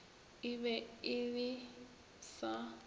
e be e le sa